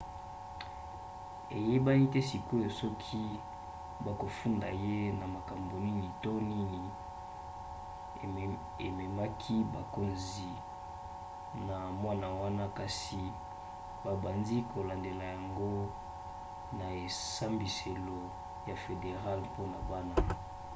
eyebani te sikoyo soki bakofunda ye na makambo nini to nini ememaki bakonzi na mwana wana kasi babandi kolandandela yango na esambiselo ya federale mpona bana